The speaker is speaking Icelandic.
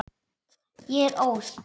Ég er óð.